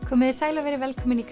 komiði sæl og verið velkomin í